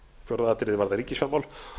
fjórða atriðið varðar ríkisfjármál